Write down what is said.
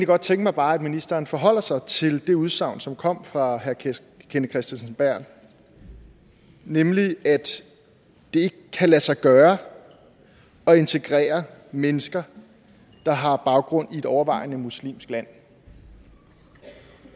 bare tænke mig at ministeren forholdt sig til det udsagn som kom fra herre kenneth kristensen berth nemlig at det ikke kan lade sig gøre at integrere mennesker der har baggrund i et overvejende muslimsk land